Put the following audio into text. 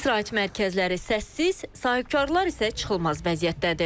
İstirahət mərkəzləri səssiz, sahibkarlar isə çıxılmaz vəziyyətdədir.